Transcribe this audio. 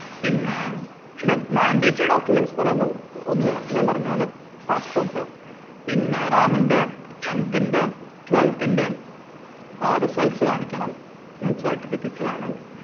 പിന്നെ, പിന്നെ mandatory documents എന്ന് പറയുമ്പം ഒന്ന് ഞാന്‍ പറഞ്ഞ പോലെ passport പിന്നെ റാമിന്റെ tenth ന്റെ twelfth ന്റെ ആഹ് results കാണിക്കണം ഉം cerificates വേണം